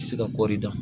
Se ka kɔɔri dan